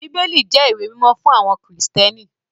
Bíbélì jẹ́ ìwé mímọ́ fún àwọn Krìstẹ́nì